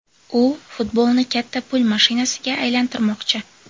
U futbolni katta pul mashinasiga aylantirmoqchi”.